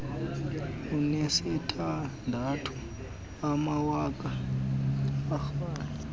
anesithandathu amawaka eerandi